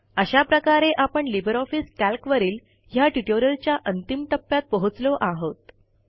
अशा प्रकारे आपण लिबर ऑफिस कॅल्कवरील ह्या ट्युटोरिअलच्या अंतिम टप्प्यात पोहोचलो आहोत